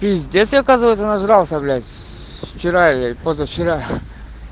пиздец я оказывается нажрался блять вчера или позавчера